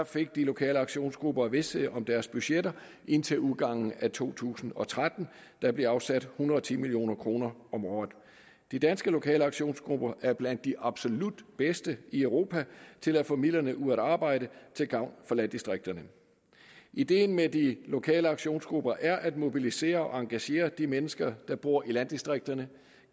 fik de lokale aktionsgrupper vished om deres budgetter indtil udgangen af to tusind og tretten der bliver afsat en hundrede og ti million kroner om året de danske lokale aktionsgrupper er blandt de absolut bedste i europa til at få midlerne ud at arbejde til gavn for landdistrikterne ideen med de lokale aktionsgrupper er at mobilisere og engagere de mennesker der bor i landdistrikterne